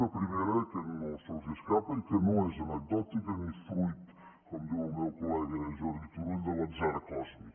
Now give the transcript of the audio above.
una primera que se’ls escapa i que no és anecdòtica ni fruit com diu el meu col·lega jordi turull de l’atzar còsmic